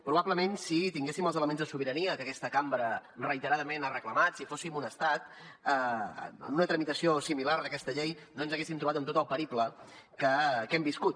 probablement si tinguéssim els elements de sobirania que aquesta cambra reiteradament ha reclamat si fóssim un estat en una tramitació similar d’aquest llei no ens hauríem trobat amb tot el periple que hem viscut